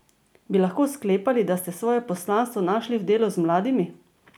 Bi lahko sklepali, da ste svoje poslanstvo našli v delu z mladimi?